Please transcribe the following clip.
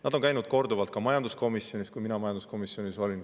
Nad käisid korduvalt ka majanduskomisjonis, kui mina majanduskomisjonis olin.